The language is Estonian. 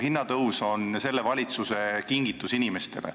Hinnatõus on selle valitsuse kingitus inimestele.